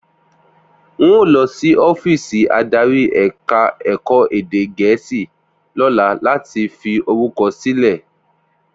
N óò lọ sí ọ́fíìsì adarí ẹ̀ka ẹ̀kọ́ èdè Gẹ̀ẹ́sì lọ́la láti fi orúkọ sílẹ̀